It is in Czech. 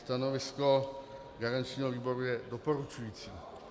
Stanovisko garančního výboru je doporučující.